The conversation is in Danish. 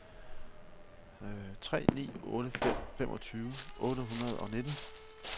tre ni otte fem femogtyve otte hundrede og nitten